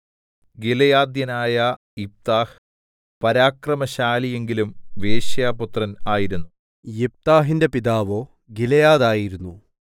ഗിലെയാദ്യനായ യിഫ്താഹ് പരാക്രമശാലി എങ്കിലും വേശ്യാപുത്രൻ ആയിരുന്നു യിഫ്താഹിന്റെ പിതാവോ ഗിലെയാദ് ആയിരുന്നു